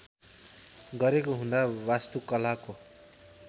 गरेको हुँदा वास्तुकलाको